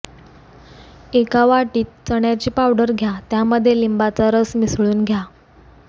एका वाटीत चण्याची पावडर घ्या त्यामध्ये लिंबाचा रस मिसळून घ्या